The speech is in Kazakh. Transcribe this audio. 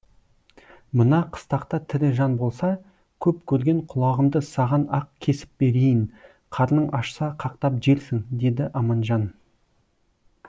мына қыстақта тірі жан болса көп көрген құлағымды саған ақ кесіп берейін қарның ашса қақтап жерсің деді аманжан